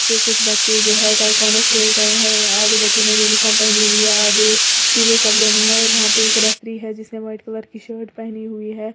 वे कुछ बच्चे जो है ताइक्वांडो खेल रहे हैं आधे बच्चों ने यूनिफॉर्म पहनी हुई है आधे सीधे कपड़ों में है और वहां पर एक रेफरी है जिसमें व्हाइट कलर की शर्ट पहनी हुई है।